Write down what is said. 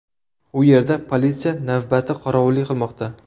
U yerda politsiya navbati qorovullik qilmoqda.